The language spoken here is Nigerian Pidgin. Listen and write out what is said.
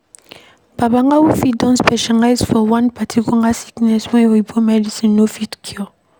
Babalawo fit don specialize for one particular sickness wey oyibo medicine no fit cure